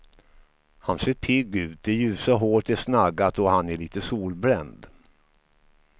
Han ser pigg ut, det ljusa håret är snaggat och han är lite solbränd.